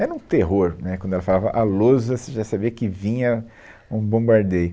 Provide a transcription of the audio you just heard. Era um terror, né, quando ela falava à lousa, você já sabia que vinha um bombardeio.